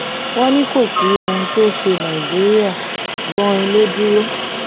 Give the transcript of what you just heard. wọ́n ní kò sí ohun tó ṣe nàìjíríà gbọn-in ló dúró